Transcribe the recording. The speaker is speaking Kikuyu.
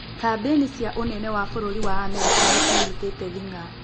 Kambĩini cia ũnene wa bũrũri wa america nĩcinyitĩte thing'a.